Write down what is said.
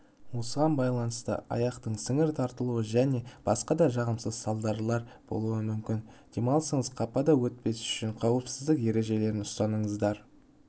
осыған байланысты аяқтың сіңір тартуы және басқа да жағымсыз салдарлар болуы мүмкін демалысыңыз қапада өтпеу үшін қауіпсіздік ережелерін ұстаныңыздар